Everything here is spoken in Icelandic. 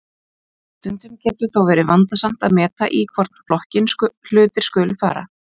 stundum getur þó verið vandasamt að meta í hvorn flokkinn hlutir skuli falla